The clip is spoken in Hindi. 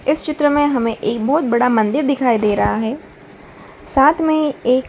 इस चित्र में हमें एक बहोत बड़ा मंदिर दिखाई दे रहा है साथ में एक --